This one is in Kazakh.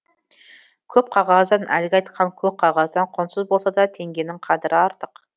көп қағаздан әлгі айтқан көк қағаздан құнсыз болса да теңгенің қадірі артық